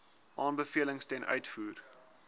aanbevelings ten uitvoer